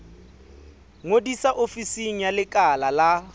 ngodisa ofising ya lekala la